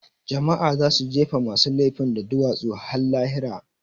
Jama'a za su jefe masu lefin da duwatsu har lahira